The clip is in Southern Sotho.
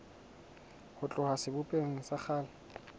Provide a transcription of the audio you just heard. ho tloha sebopehong sa kgale